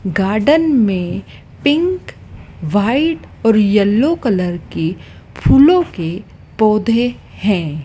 Garden में pink white और yellow colour के फूलो के पौधे हैं।